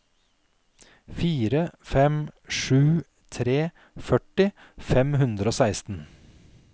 fire fem sju tre førti fem hundre og seksten